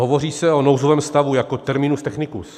Hovoří se o nouzovém stavu jako terminu technicusu.